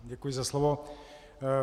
Děkuji za slovo.